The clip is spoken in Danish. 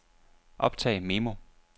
optag memo